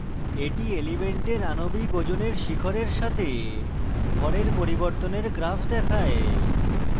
এটি এলিমেন্টের আনবিক ওজনের শিখরের সাথে ভরের পরিবর্তনের গ্রাফ দেখায়